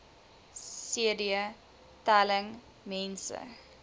cd telling mense